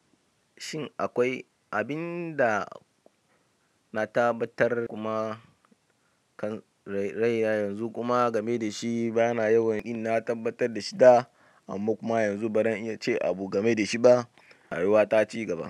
Shin akwai abinda na tabbatar kuma kan raina yanzu kuma game dashi bana yawan inna tabbatar dashi da amma kuma yanzu ba ran iya ce abu game da shi ba, rayuwa ta cigaba.